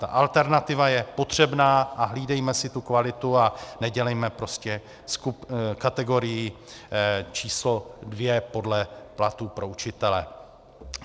Ta alternativa je potřebná a hlídejme si tu kvalitu a nedělejme prostě kategorii číslo dvě podle platu pro učitele.